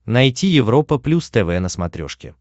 найти европа плюс тв на смотрешке